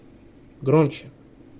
громче